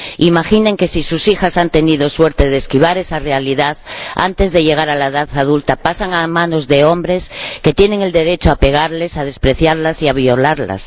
Imaginen que si sus hijas han tenido la suerte de esquivar esa realidad, antes de llegar a la edad adulta pasan a manos de hombres que tienen derecho a pegarles, a despreciarlas y a violarlas.